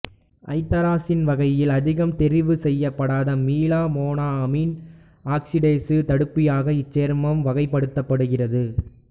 ஐதரசீன் வகையில் அதிகம் தெரிவு செய்யப்படாத மீளா மோனோ அமீன் ஆக்சிடேசு தடுப்பியாக இச்சேர்மம் வகைப்படுத்தப்படுகிறது